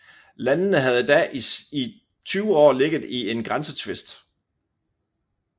Landene havde da i 20 år ligget i en grænsetvist